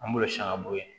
An b'olu san ka bɔ yen